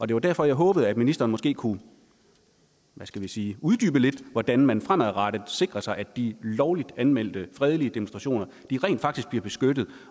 det var derfor jeg håbede at ministeren måske kunne hvad skal vi sige uddybe lidt hvordan man fremadrettet sikrer sig at de lovligt anmeldte fredelige demonstrationer rent faktisk bliver beskyttet